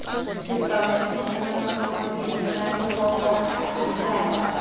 sekao dijenale maboko dianelalebopo mmuisano